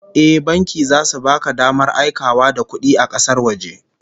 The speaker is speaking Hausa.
Eh, banki zasu baka damar aikawa da kudi kasar waje